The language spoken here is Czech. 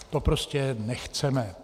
To prostě nechceme.